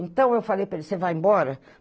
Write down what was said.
Então eu falei para ele, você vai embora?